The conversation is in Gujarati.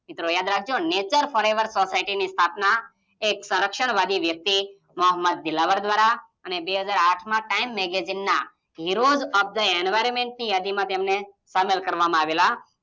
મિત્રો યાદ રાખજો નેચર ફોરએવર સોસાયટીની સ્થાપના એક સરક્ષણવાદી વ્યક્તિ મોહમ્મદ દિલાવર દ્વારા અને બે હાજર આઠમાં ટાઈમ મેગેજીન ના હીરોઝ ઓફ થઈ એન્વીયોર્મેન્ટની યાદીમાં તેમને સામેલ કરવામાં આવેલા.